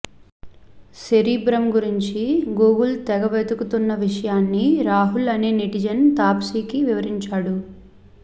cerebrum గురించి Google తెగ వెతుకుతున్న విషయాన్ని రాహుల్ అనే నెటిజన్ తాప్సికి వివరించాడు